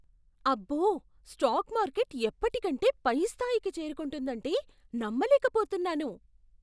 అబ్బో, stock market ఎప్పటికంటే పై స్థాయికి చేరుకుందంటే నమ్మలేకపోతున్నాను!